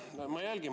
Aitäh!